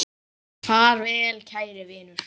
Far vel, kæri vinur.